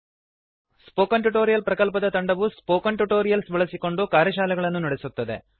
spoken tutorial ಪ್ರಕಲ್ಪದ ತಂಡವು spoken tutorials ಬಳಸಿಕೊಂಡು ಕಾರ್ಯಶಾಲೆಗಳನ್ನು ನಡೆಸುತ್ತದೆ